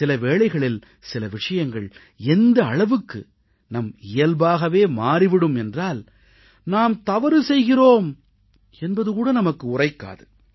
சில வேளைகளில் சில விஷயங்கள் எந்த அளவுக்கு நம் இயல்பாகவே மாறி விடும் என்றால் நாம் தவறு செய்கிறோம் என்பது கூட நமக்கு உரைக்காது